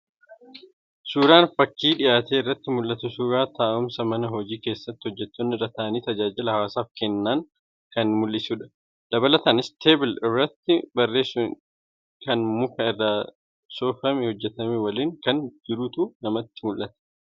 Suuraan fakii dhiyaate irraa mul'atu suuraa taa'umsa mana hojii keessatti hojjettoonni irra taa'anii tajaajila hawaasaaf kennan kan mul'isudha. Dabalataanis'table' irratti barreessan kan muka irraa soofamee hojjetame waliin kan jirutu namatti mul'ata.